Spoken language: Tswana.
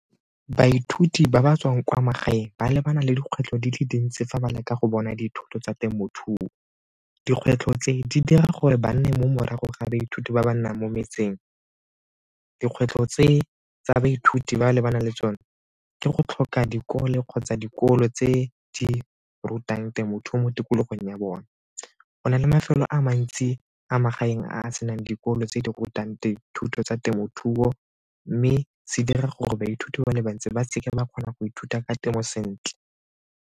Baithuti ba ba tswang kwa magaeng ba lebana le dikgwetlho di le dintsi fa ba leka go bona dithoto tsa temothuo. Dikgwetlho tse, di dira gore ba nne mo morago ga baithuti ba ba nnang mo metseng. Dikgwetlho tse tsa baithuti ba lebaneng le tsone ke go tlhoka dikolo kgotsa dikolo tse di rutang temothuo mo tikologong ya bone. Go na le a mantsi a magaeng a senang dikolo tse di rutang dithuto tsa temothuo mme se dira gore baithuti ba le bantsi ba seke ba kgona go ithuta ka temo sentle.